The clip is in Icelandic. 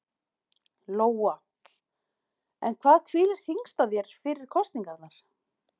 Lóa: En hvað hvílir þyngst á þér fyrir kosningarnar?